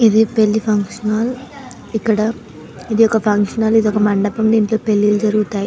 ఇది పెళ్లి function hall . ఇక్కడ ఇదొక ఫంక్షన్ హాల్ ఇదొక మండపం దీంట్లో పెళ్ళిళ్ళు జరుగుతాయి.